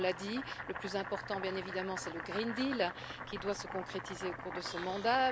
On l'a dit. Le plus important, bien évidemment, c'est le Green Deal qui doit se concrétiser au cours de ce mandat.